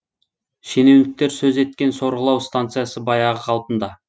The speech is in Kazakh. шенеуніктер сөз еткен сорғылау станциясы баяғы қалпында